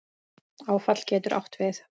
Áfall getur átt við